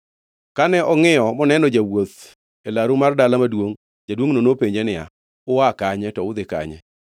Kane ongʼiyo moneno jawuoth e laru mar dala maduongʼ, jaduongʼno nopenje niya, “Ua kanye, to udhi kanye?”